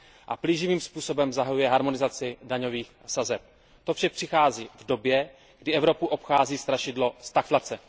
A plíživým způsobem zahajuje harmonizaci daňových sazeb. To vše přichází v době, kdy Evropu obchází strašidlo stagflace.